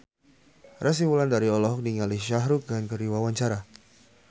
Resty Wulandari olohok ningali Shah Rukh Khan keur diwawancara